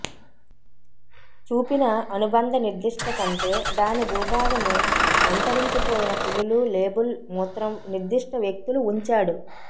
చూపిన అనుబంధ నిర్దిష్ట కంటే దాని భూభాగం అంతరించిపోయిన పులులు లేబుల్ మూత్రం నిర్దిష్ట వ్యక్తులు ఉంచాడు